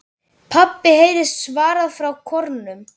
PABBI heyrist svarað frá kórnum.